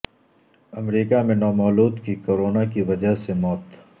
امریکہ میں نومولود کی کورونا کی وجہ سے موت